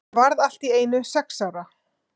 Ég varð allt í einu sex ára.